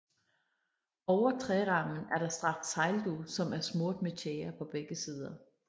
Over trærammen er der strakt sejldug som er smurt med tjære på begge sider